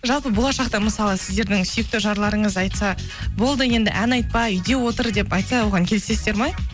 жалпы болашақта мысалы сіздердің сүйікті жарларыңыз айтса болды енді ән айтпа үйде отыр деп айтса оған келісесіздер ме